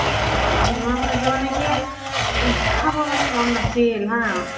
ইমান খুৱাইছি মানে কি খব মনে মন নাছিল হা